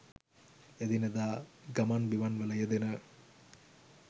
එදිනෙදා ගමන් බිමන්වල යෙදෙන